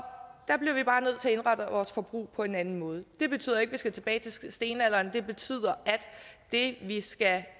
indrette vores forbrug på en anden måde det betyder ikke at vi skal tilbage til stenalderen det betyder at det vi skal